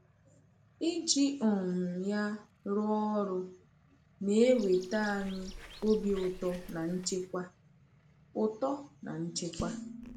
Iji um ya rụọ ọrụ na-eweta anyị obi ụtọ na nchekwa. ụtọ na nchekwa.